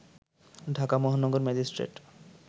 ঢাকা মহানগর ম্যাজিস্ট্রেট